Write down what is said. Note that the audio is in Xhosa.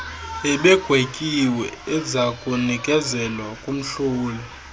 ebegwetyiwe ezakunikezelwa kumhloli